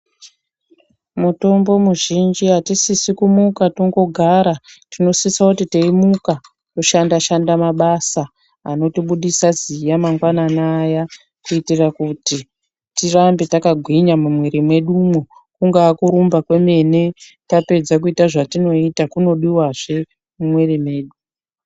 Mutombo muzhinji atisisi kungomuka tongogara tinosisa kuti teyimuka toshanda shanda mabasa anotibudisa ziya mangwanani aya kuitire kuti tirambe takagwinya mumwiri mwedumwo kungaa kurumba kwemene tapedza kuita zvetinoita kunodiwazve mumwiri mwedu.